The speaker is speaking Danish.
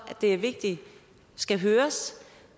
det er vigtigt skal høres